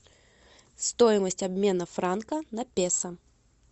стоимость обмена франка на песо